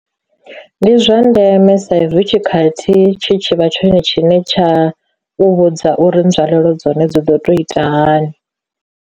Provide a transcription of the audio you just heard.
Ndi zwa ndeme saizwi tshikhathi tshi tshivha tshone tshine tsha u vhudza uri nzwalelo dzone dzi ḓo to ita hani.